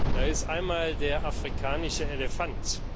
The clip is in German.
Da ist einmal der afrikanische Elefant.